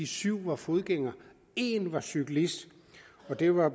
syv var fodgængere en var cyklist og det var